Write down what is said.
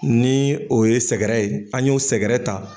Ni o ye sɛgɛrɛ ye an y'o sɛgɛrɛ ta.